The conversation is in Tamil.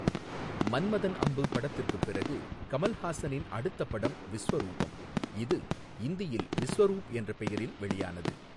மன்மதன் அம்பு படத்திற்குப் பிறகு கமல்ஹாசனின் அடுத்த படம் விஸ்வரூபம் இது இந்தியில் விஸ்வரூப் என்ற பெயரில் வெளியானது.